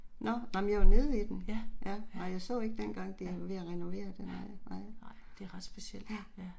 Nåh, nej, men jeg var nede i den. Ja. Nej jeg så ikke dengang de var ved at renovere det, nej nej. Ja